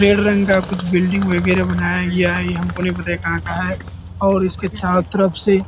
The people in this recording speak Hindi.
रेड रंग का कुछ बिल्डिंग वगैरा बनाया गया है ये हमको नहीं पता है कहाँ का है और उसके चारो तरफ से --